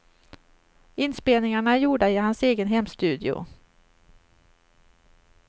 Inspelningarna är gjorda i hans egen hemstudio.